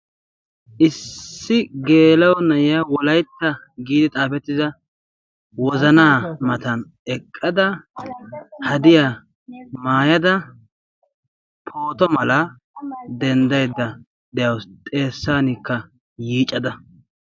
issi geelo nayiya wolaitta giidi xaafettida wozanaa matan eqqada hadiyaa maayada pooto mala denddaidda de7awusu xeessankka yiicada.